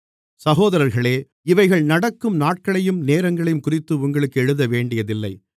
சகோதரர்களே இவைகள் நடக்கும் நாட்களையும் நேரங்களையும்குறித்து உங்களுக்கு எழுதவேண்டியதில்லை